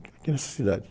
aqui nessa cidade